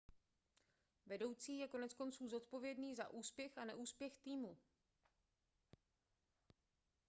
vedoucí je koneckonců zodpovědný za úspěch a neúspěch týmu